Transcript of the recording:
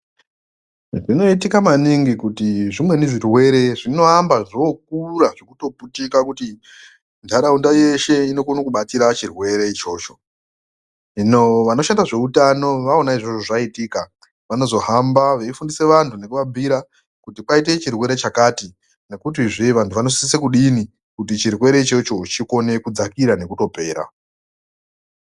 Zvinoitika maningi kuti zvimweni zvirwere zvinoamba zvokura zvekutoputika kuti ntaraunda yeshe inokona kutobatira chirwere ichocho, hino vanoshanda zveutano waona izvozvo zvaitika vanozohamba veifundisa vantu nekuvabhuira kuti kwaite chirwere chakati nekutizve vantu vanosise kudini kuti chirwere ichocho chikone kudzakira nekutopera.